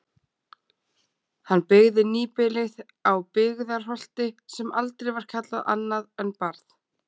Hann byggði nýbýlið á Byggðarholti sem aldrei var kallað annað en Barð.